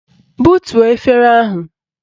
Butuo efere ahụ!